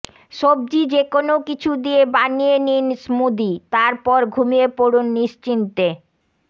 সব্জি যেকোনও কিছু দিয়ে বানিয়ে নিন স্মুদি তারপর ঘুমিয়ে পড়ুন নিশ্চিন্তে